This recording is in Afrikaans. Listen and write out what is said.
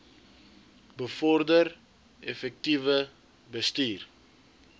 bevorder effektiewe bestuur